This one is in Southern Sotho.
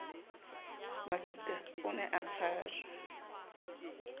masitha o ne a tshajwa